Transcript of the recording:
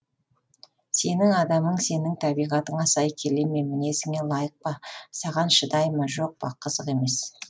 сенің адамың сенің табиғатыңа сай келе ме мінезіңе лайық па саған шыдай ма жоқ па қызық емес